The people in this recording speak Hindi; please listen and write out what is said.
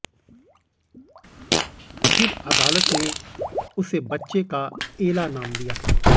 फिर अदालत ने उसे बच्चे का एला नाम दिया